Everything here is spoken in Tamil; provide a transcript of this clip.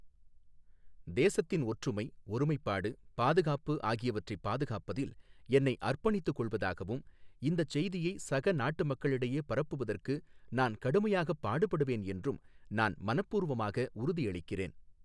தேசத்தின் ஒற்றுமை, ஒருமைப்பாடு, பாதுகாப்பு ஆகியவற்றைப் பாதுகாப்பதில் என்னை அர்ப்பணித்துக் கொள்வதாகவும், இந்தச் செய்தியை சக நாட்டுமக்களிடையே பரப்புவதற்கு நான் கடுமையாகப் பாடுபடுவேன் என்றும் நான் மனப்பூர்வமாக உறுதியளிக்கிறேன்.